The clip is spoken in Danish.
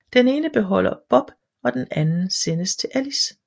Den ene beholder Bob og den anden sendes til Alice